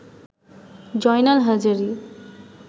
Joynal Hazari